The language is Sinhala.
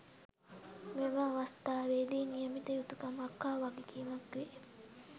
මෙම අවස්ථාවේදී නියමිත යුතුකමක් හා වගකීමක්වේ